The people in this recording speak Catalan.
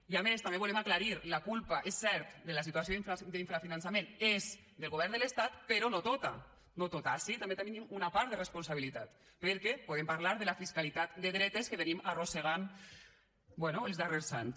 i a més també ho volem aclarir la culpa és cert de la situació d’infrafinançament és del govern de l’estat però no tota no tota ací també tenim una part de responsabilitat perquè podem parlar de la fiscalitat de dretes que venim arrossegant bé els darrers anys